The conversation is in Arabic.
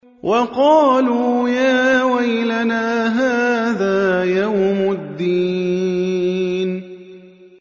وَقَالُوا يَا وَيْلَنَا هَٰذَا يَوْمُ الدِّينِ